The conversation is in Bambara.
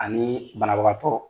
Ani banabagatɔ